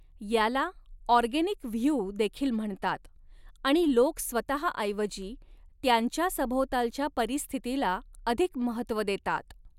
याला organic view देखील म्हणतात आणि लोक स्वतःऐवजी त्यांच्या सभोवतालच्या परिस्थितीला अधिक महत्त्व देतात.